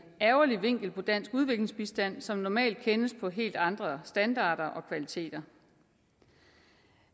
ærgerlig vinkel på dansk udviklingsbistand som normalt kendes på helt andre standarder og kvaliteter